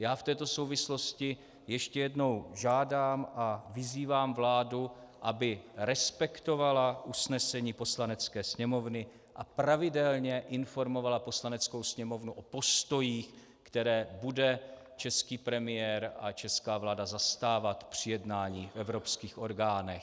Já v této souvislosti ještě jednou žádám a vyzývám vládu, aby respektovala usnesení Poslanecké sněmovny a pravidelně informovala Poslaneckou sněmovnu o postojích, které bude český premiér a česká vláda zastávat při jednání v evropských orgánech.